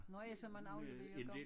Nå ja som man afleverer gang